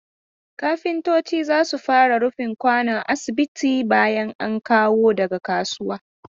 Kafintoci za su fara rufin kwano asibi bayan an kawo daga kasuwa.